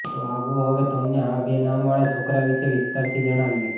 તો આવો હવે તમને આ બે નામ વાળા છોકરા વિષે વિસ્તારથી જણાવીએ